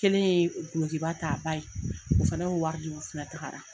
Kelen ye dulokiba ta a ba ye. O fana y'o wari di. O fila tagara.